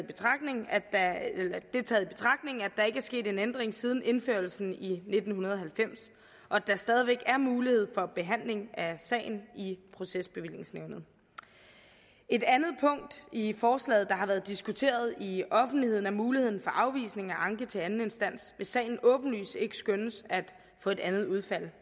betragtning at der ikke er sket en ændring siden indførelsen i nitten halvfems og at der stadig væk er mulighed for behandling af sagen i procesbevillingsnævnet et andet punkt i forslaget der har været diskuteret i offentligheden er muligheden for afvisning af anke til anden instans hvis sagen åbenlyst ikke skønnes at få et andet udfald det